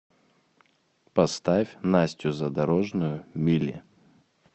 поставь настю задорожную мили